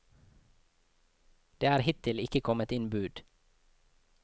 Det er hittil ikke kommet inn bud.